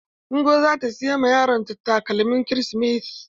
Ngozi za ta siy ma yaron ta takalmin kirismas.